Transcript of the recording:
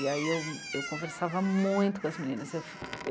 E aí eu, eu conversava muito com as meninas, eu